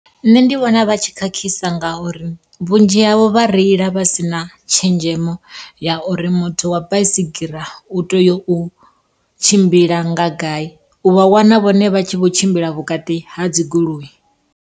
Nṋe ndi vhona vhatshi khakhisa ngauri, vhunzhi havho vha reila vha si na tshenzhemo ya uri muthu wa baisigira u teya u tshimbila nga gai. U vha wana vhone vha tshi vho tshimbila vhukati ha dzi goloi.